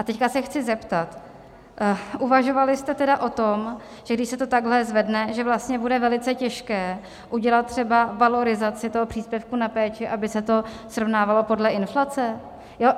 A teď se chci zeptat, uvažovali jste tedy o tom, že když se to takhle zvedne, že vlastně bude velice těžké udělat třeba valorizaci toho příspěvku na péči, aby se to srovnávalo podle inflace?